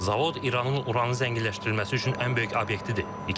Zavod İranın uranı zənginləşdirilməsi üçün ən böyük obyektidir.